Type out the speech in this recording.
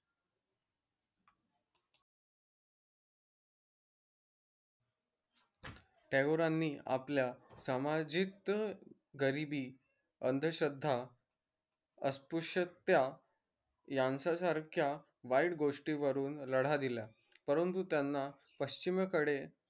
टागोरांनी आपल्या सामाजिक गरीबी अंधश्रद्धा अस्पृशता यांचा सारख्या वाईट गोष्टीवरून लढा दिला परंतु त्यांना पश्चिमीकडे